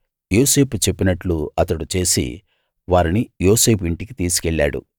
యోసేపు చెప్పినట్లు అతడు చేసి వారిని యోసేపు ఇంటికి తీసికెళ్ళాడు